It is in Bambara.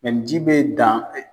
ni ji bɛ dan